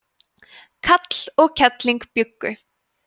kall og kelling bjuggu